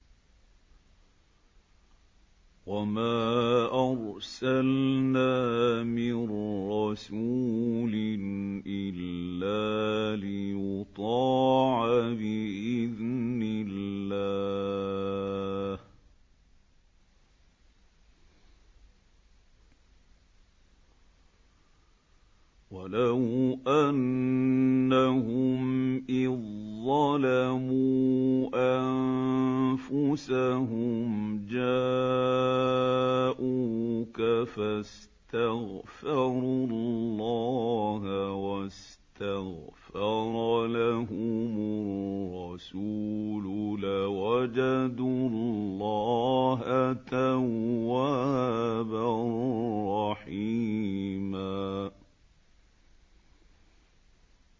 وَمَا أَرْسَلْنَا مِن رَّسُولٍ إِلَّا لِيُطَاعَ بِإِذْنِ اللَّهِ ۚ وَلَوْ أَنَّهُمْ إِذ ظَّلَمُوا أَنفُسَهُمْ جَاءُوكَ فَاسْتَغْفَرُوا اللَّهَ وَاسْتَغْفَرَ لَهُمُ الرَّسُولُ لَوَجَدُوا اللَّهَ تَوَّابًا رَّحِيمًا